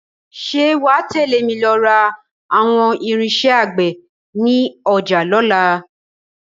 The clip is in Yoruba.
Ṣé wà á tẹ̀lé mi lọ ra àwọn irinṣẹ́ àgbè ní ọjà lọ́la